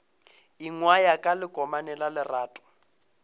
ingwaya ka lekomane la lerato